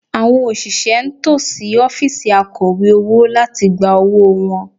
Àwọn òṣìṣẹ́ ń tò sí ọ́fíìsì Akọ̀wé owó láti gba owó wọn